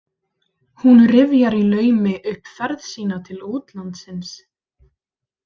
Hún rifjar í laumi upp ferð sína til útlandsins.